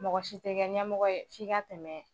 Mɔgɔ si tɛ kɛ ɲɛmɔgɔ ye f'i ka tɛmɛ